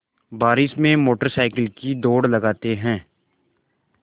बारिश में motorcycle की दौड़ लगाते हैं